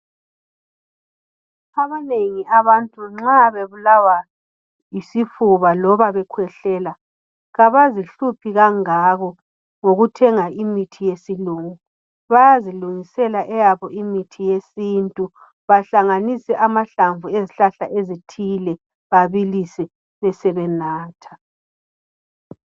Abanengi abantu nxa bebulawa yisifuba, loba bekhwehlela, kabazihluphi kangako ngokuthenga imithi yesilungu, bayazilungisela eyabo imithi yesintu, bahlanganise amahlamvu ezihlahla ezithile, babilise besebenatha.